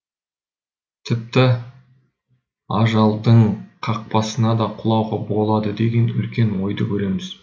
тіпті ажалдың қапасына да құлауға болады деген үлкен ойды көреміз